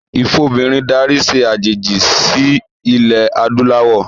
Ìfobìnrin darí se àjèjì sí ilẹ̀ adúláwọ̀